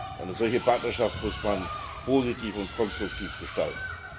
Eine solche Partnerschaft muss man positiv und konstruktiv gestalten.